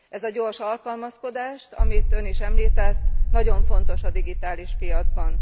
Ez a gyors alkalmazkodás amit Ön is említett nagyon fontos a digitális piacban.